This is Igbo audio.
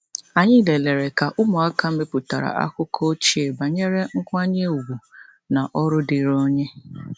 Anyị lelere ka ụmụaka mepụtara akụkọ ochie banyere nkwanye ùgwù na ọrụ dịrị onye.